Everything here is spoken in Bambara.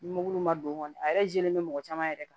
Ni mugu ma don kɔni a yɛrɛ jɛlen bɛ mɔgɔ caman yɛrɛ kan